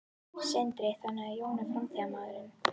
Sindri: Þannig að Jón er framtíðarmaðurinn?